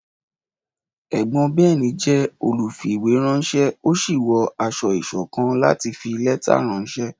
Ẹ̀gbọ́n Ben jẹ́ olùfìwéránṣẹ́, ó sì wọ aṣọ ìṣọ̀kan láti fi lẹ́tà ránṣẹ́.